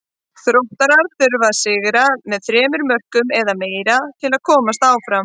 Þróttarar þurfa að sigra með þremur mörkum eða meira til að komast áfram.